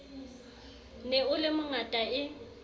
ne o le mongata e